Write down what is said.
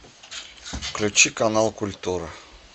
включи канал культура